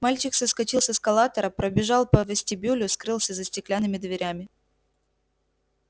мальчик соскочил с эскалатора пробежал по вестибюлю скрылся за стеклянными дверями